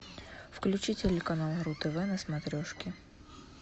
включи телеканал ру тв на смотрешке